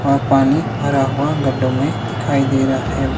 और पानी भरा हुआ गड्ढों में दिखाई दे रहा है।